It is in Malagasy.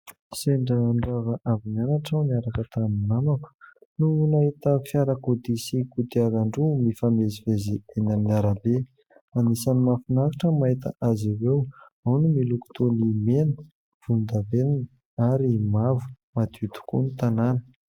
Sendra nirava avy mianatra aho niaraka tamin'ny namako no nahita fiarakodia sy kodiaran-droa mifamezivezy eny arabe ; anisany mahafinaritra mahita azy ireo ao ny miloko toa ny mena, volondavenona ary mavo. Madio tokoa ny tanàna.